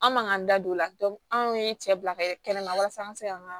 An man ka an da don o la anw ye cɛ bila ka kɛ kɛnɛ ma walasa an ka se ka an ka